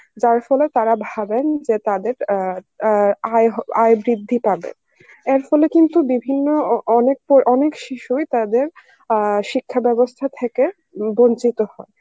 যার ফলে তারা ভাবেন যে তাদের অ্যাঁ আয়ে আয়ে বৃদ্ধি পাবে, এর ফলে কিন্তু বিভিন্ন অ~ অনেক শিশুই তাদের আ শিক্ষা বেবস্থা থেকে বঞ্চিত হয়